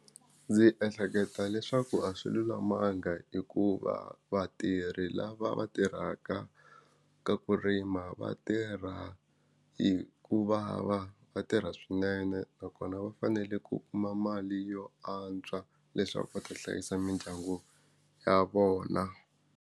Ndzi ehleketa leswaku a swi lulamanga hikuva vatirhi lava va tirhaka ka ku rima vatirha hi kuvava va tirha swinene nakona va fanele ku kuma mali yo antswa leswaku va ta hlayisa mindyangu ya vona.